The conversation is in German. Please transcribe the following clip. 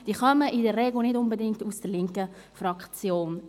Sie kommen in der Regel nicht unbedingt aus der linken Fraktion.